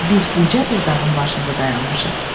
Biz uca bir dağın başında dayanmışıq.